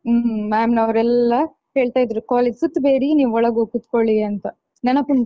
ಹ್ಮ್ ma'am ನವರೆಲ್ಲಾ ಹೇಳ್ತಾಯಿದ್ರು college ಸುತ್ತುಬೇಡಿ ನೀವು ಒಳಗೋಗ್ ಕೂತ್ಕೊಳ್ಳಿ ಅಂತ ನೆನಪುಂಟಾ?